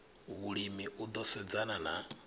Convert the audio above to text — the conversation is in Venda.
vhulimi u ḓo sedzana na